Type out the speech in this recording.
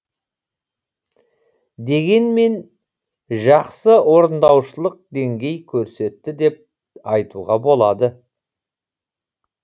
дегенмен жақсы орындаушылық деңгей көрсетті деп айтуға болады